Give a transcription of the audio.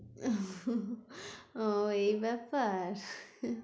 ও এই ব্যাপার?